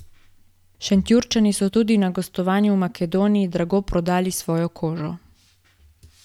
Šentjurčani so tudi na gostovanju v Makedoniji drago prodali svojo kožo.